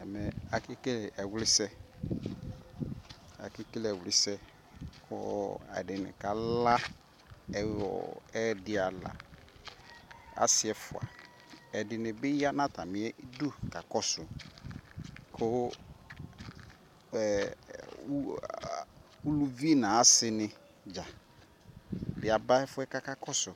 ɛmɛ akɛkɛlɛ ɛwli sɛ, akɛkɛlɛ ɛwli sɛ, ɛdini kala ɛdi ala ,asii ɛƒʋa, ɛdinibi yanʋ atami idʋ kakɔsʋ kʋ ʋlʋvi nʋ asii ni dza aba ɛƒʋɛ kʋ akakɔsʋ